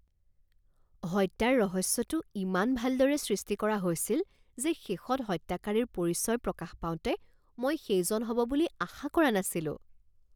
হত্যাৰ ৰহস্যটো ইমান ভালদৰে সৃষ্টি কৰা হৈছিল যে শেষত হত্যাকাৰীৰ পৰিচয় প্ৰকাশ পাওঁতে মই সেইজন হ'ব বুলি আশা কৰা নাছিলো